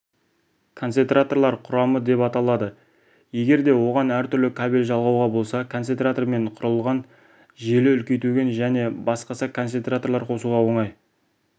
концентраторлар құрамы деп аталады егер де оған әртүрлі кабель жалғауға болса концентратормен құрылған желі үлкейтуге және басқа концентраторлар қосуға оңай